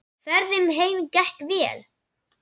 Ferðin heim gekk vel.